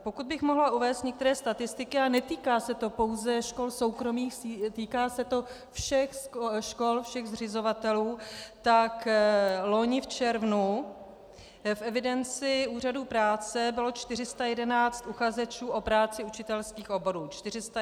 Pokud bych mohla uvést některé statistiky, a netýká se to pouze škol soukromých, týká se to všech škol, všech zřizovatelů, tak loni v červnu v evidenci úřadu práce bylo 411 uchazečů o práci učitelských oborů.